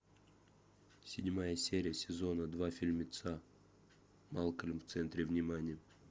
седьмая серия сезона два фильмеца малкольм в центре внимания